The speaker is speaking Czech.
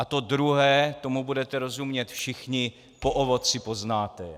A to druhé, tomu budete rozumět všichni: Po ovoci poznáte je.